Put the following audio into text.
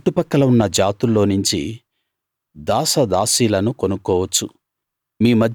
మీ చుట్టుపక్కల ఉన్న జాతుల్లోనించి దాస దాసీలను కొనుక్కోవచ్చు